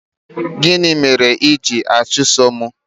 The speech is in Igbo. Gịnị mere i jiri achụso m?